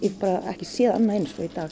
bara ekki séð annað eins og í dag